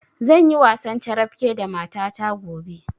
Zanyi wasan carabke da mata ta gobe